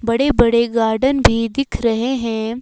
बड़े बड़े गार्डन भी दिख रहे हैं।